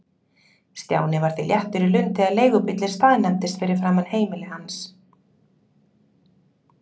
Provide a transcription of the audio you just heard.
Stjáni var því léttur í lund þegar leigubíllinn staðnæmdist fyrir framan heimili hans.